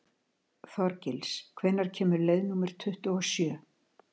Þorgils, hvenær kemur leið númer tuttugu og sjö?